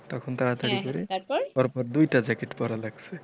তখন তাড়াতাড়ি করে তারপর দুইটা jacket পড়া লাগছে